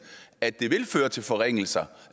at det vil føre til forringelser